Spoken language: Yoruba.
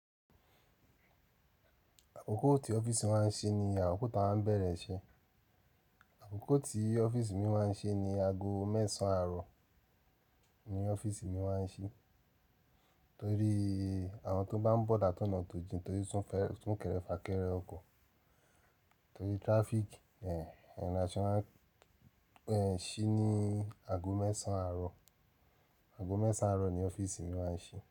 Àkókò tí ọ́fíìsì mi máa ń ṣí ní àkókò tá a ń bẹ̀rẹ̀ iṣẹ́. Àkókò tí ọ́fíìsì mi máa ń ṣí ni ago mẹ́sàn àárọ̀ ni ọ́fíìsì mi máa ń ṣí torí àwọn tó bá ń bọ̀ látọ̀nà tójín torí tún kẹ́rẹ́ fà kẹ́rẹ́ ọkọ̀ torí traffic. Ẹ̀ẹ̀, ẹ̀rán ṣọ máa ń, ẹ̀ ṣí ní ago mẹ́sàn àárọ̀. Ago mẹ́sàn àárọ̀ ni ọ́fíìsì mi máa ń ṣí.